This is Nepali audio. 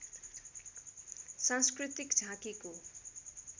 सांस्कृतिक झाँकीको